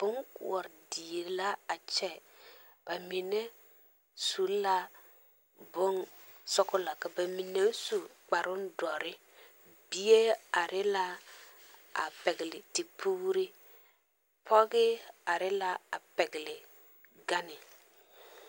Bonkoɔre die la a kyɛ ba mine su la bonsɔglɔ ka ba mine su kparoŋdɔre bie are la a pɛgle tepuuri pɔge are la a pɛgle gane.